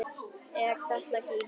Er þetta gína?